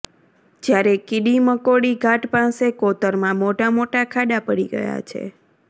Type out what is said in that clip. જ્યારે કીડીમકોડી ઘાટ પાસે કોતરમા મોટા મોટા ખાડા પડી ગયા છે